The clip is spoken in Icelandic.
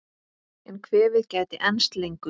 En kvefið gæti enst lengur.